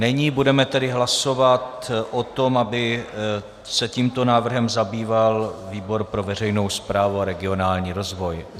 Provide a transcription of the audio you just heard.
Není, budeme tedy hlasovat o tom, aby se tímto návrhem zabýval výbor pro veřejnou správu a regionální rozvoj.